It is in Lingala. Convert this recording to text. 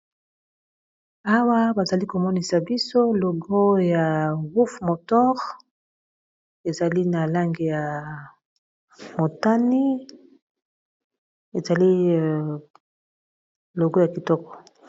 Awa bazali komonisa biso logo ya wof motor ezali na lange ya motani ezali logo ya kitoko